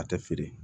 A tɛ feere